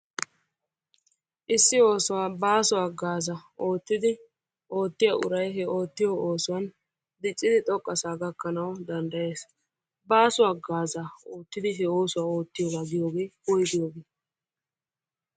Issi oosuwaa baasso haggaazzaa oottidi oottiya uray he oottiyo oosuwaani diccidi xoqqa saa gakanna danddayes. Basso haggaazaa oottidi he oosuwas oottiyogga giyooge woygiyogge?